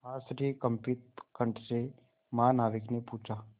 आश्चर्यकंपित कंठ से महानाविक ने पूछा